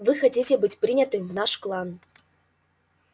вы хотите быть принятым в наш клан